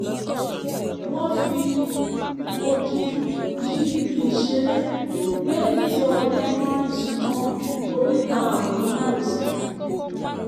wọ́n fi odi yí ibi ìṣeré lẹ́yìn tí ọmọdé kan rìn súnmọ́ oríta ọ̀nà márosẹ̀